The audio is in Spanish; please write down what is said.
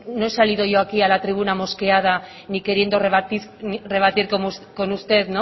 no he salido yo aquí a la tribuna mosqueada ni queriendo rebatir con usted